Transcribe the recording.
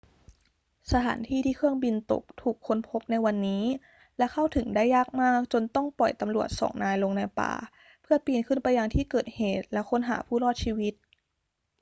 สถานที่ที่เครื่องบินตกถูกค้นพบในวันนี้ และเข้าถึงได้ยากมากจนต้องปล่อยตำรวจสองนายลงในป่าเพื่อปีนขึ้นไปยังที่เกิดเหตุแล้วค้นหาผู้รอดชีวิต